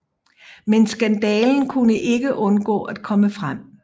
Men skandalen kunne ikke undgå at komme frem